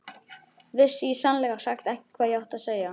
Vissi í sannleika sagt ekki hvað ég átti að segja.